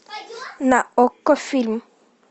на окко фильм